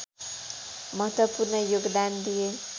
महत्त्वपूर्ण योगदान दिए